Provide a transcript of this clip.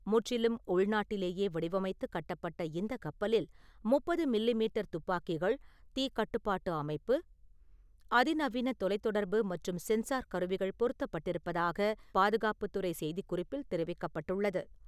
முற்றிலும் உள்நாட்டிலேயே வடிவமைத்துக் கட்டப்பட்ட இந்தக் கப்பலில் முப்பது மில்லி மீட்டர் துப்பாக்கிகள், தீ கட்டுப்பாட்டு அமைப்பு, அதிநவீன தொலைத்தொடர்பு மற்றும் சென்சார் கருவிகள் பொருத்தப்பட்டிருப்பதாக பாதுகாப்புத்துறை செய்திக்குறிப்பில் தெரிவிக்கப்பட்டுள்ளது.